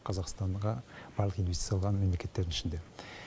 қазақстанға барлық инвестиция салған мемлекеттердің ішінде